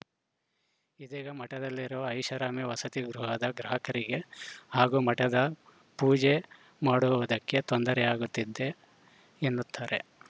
ಇದೀಗ ಮಠದಲ್ಲಿರುವ ಐಷಾರಾಮಿ ವಸತಿಗೃಹದ ಗ್ರಾಹಕರಿಗೆ ಹಾಗೂ ಮಠದ ಪೂಜೆ ಮಾಡುವುದಕ್ಕೆ ತೊಂದರೆಯಾಗುತ್ತಿದೆ ಎನ್ನುತ್ತಾರೆ